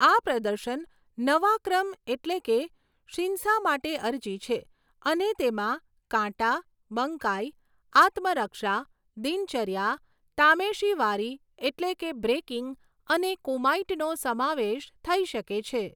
આ પ્રદર્શન નવા ક્રમ એટલે કે શિન્સા માટે અરજી છે અને તેમાં કાટા, બંકાઈ, આત્મરક્ષા, દિનચર્યા, તામેશીવારી એટલે કે બ્રેકિંગ અને કુમાઇટનો સમાવેશ થઈ શકે છે.